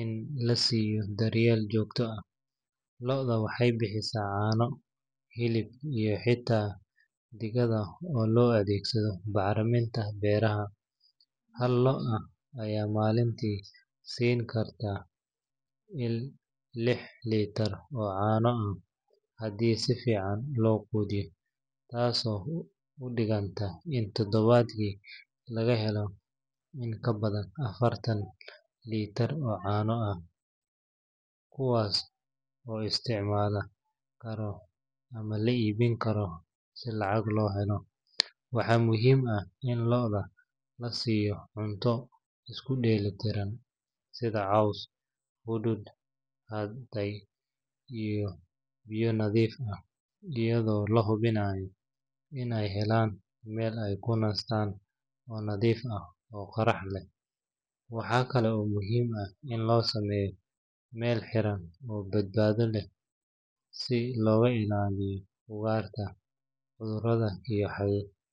in la siiyo daryeel joogto ah. Lo’da waxay bixisaa caano, hilib, iyo xitaa digada oo loo adeegsado bacriminta beeraha. Hal lo’ ah ayaa maalintii siin karta ilaa lix litir oo caano ah haddii si fiican loo quudiyo, taasoo u dhiganta in toddobaadkii laga helo in ka badan afartan litir oo caano ah, kuwaas oo la isticmaali karo ama la iibin karo si lacag loo helo. Waxa muhiim ah in lo’da la siiyo cunto isku dheelitiran sida caws, hadhuudh hadhay, iyo biyo nadiif ah, iyadoo la hubinayo in ay helaan meel ay ku nastaan oo nadiif ah oo qorrax leh. Waxaa kale oo muhiim ah in loo sameeyo meel xiran oo badbaado leh si looga ilaaliyo ugaarta, cudurrada.